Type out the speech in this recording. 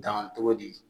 Dan cogo di